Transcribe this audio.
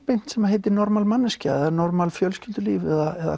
sem heitir normal manneskja normal fjölskyldulíf eða